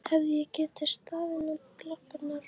Hefði ég getað staðið í lappirnar?